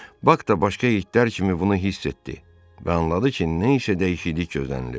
Bak da başqa itlər kimi bunu hiss etdi və anladı ki, nə isə dəyişiklik gözlənilir.